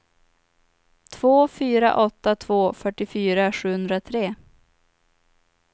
två fyra åtta två fyrtiofyra sjuhundratre